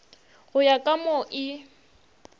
go ya ka mo e